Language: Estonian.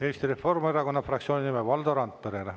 Eesti Reformierakonna fraktsiooni nimel Valdo Randpere.